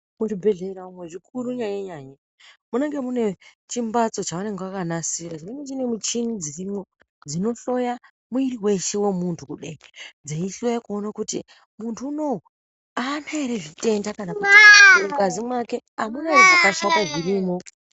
Muzvibhedhlera umwo zvikuri nyanye nyanye munenge mune zvimbatso zvavanenge vakanasira zvinenge zvinemuchini dzirimwo dzinohloyo mwuviri weshe wemuntu kudai dzeihloya kuona kuti muntu unowu aana ere zvitenda .mungazi make amuna ere zvakashata zvirimo.